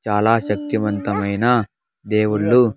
చాలా శక్తివంతమైన దేవుళ్లు.